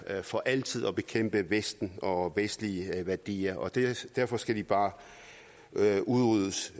for altid at bekæmpe vesten og vestlige værdier derfor skal de bare udryddes